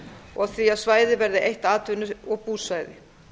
og því að svæðið verði eitt atvinnu og búsvæði